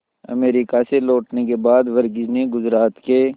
America से लौटने के बाद वर्गीज ने गुजरात के